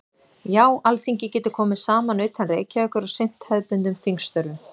Já, Alþingi getur komið saman utan Reykjavíkur og sinnt hefðbundnum þingstörfum.